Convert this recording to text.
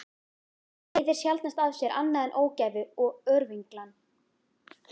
Það leiðir sjaldnast af sér annað en ógæfu og örvinglan.